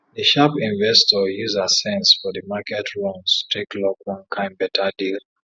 d sharp investor use her sense for d market runs take lock one kain better deal